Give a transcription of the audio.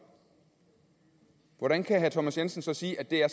hvordan kan herre thomas jensen så sige at det er